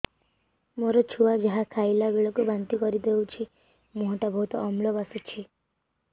ମୋ ଛୁଆ ଯାହା ଖାଇଲା ବେଳକୁ ବାନ୍ତି କରିଦଉଛି ମୁହଁ ଟା ବହୁତ ଅମ୍ଳ ବାସୁଛି